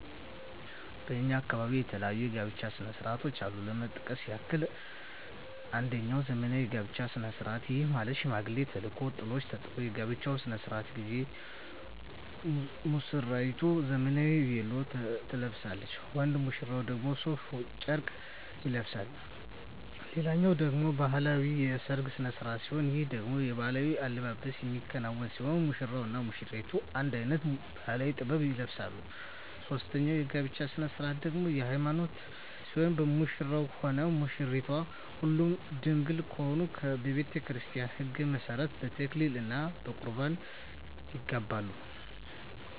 በእኛ አካባቢ የተለያዩ የጋብቻ ስነ ስርዓቶች አሉ ለመጥቀስ ያክል አንጀኛው ዘመናዊ የጋብቻ ስነ ስርዓት ይህም ማለት ሽማግሌ ተልኮ ጥሎሽ ተጥሎ የጋብቻው ስነ ስርዓት ጊዜ ሙስራይቱ ዘመናዊ ቬሎ ትለብሳለች ወንድ ሙሽራው ደግሞ ሡፍ ጨርቅ ይለብሳል ሌላኛው ደግሞ ባህላዊ የሰርግ ስነ ስርዓት ሲሆን ይህ ደግሞ በባህላዊ አልባሳት የሚከናወን ሲሆን ሙሽራው እና ሙሽሪቷ አንድ አይነት ባህላዊ(ጥበብ) ይለብሳሉ ሶስተኛው የጋብቻ ስነ ስርዓት ደግሞ የሀይማኖት ሲሆን ሙሽራውም ሆነ ሙሽራይቷ ሁለቱም ድንግል ከሆኑ በቤተክርስቲያን ህግ መሠረት በተክሊል እና በቁርባን ይጋባሉ።